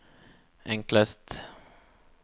enklest